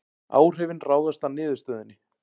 Áhrifin ráðast af niðurstöðunni